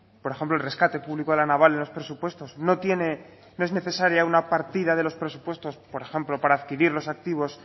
por ejemplo el rescate público a la naval en los presupuestos no tiene no es necesaria una partida de los presupuestos por ejemplo para adquirir los activos